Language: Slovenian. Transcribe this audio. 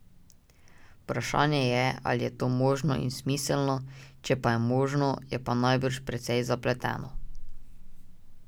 Vprašanje je, ali je to možno in smiselno, če pa je možno, je pa najbrž precej zapleteno.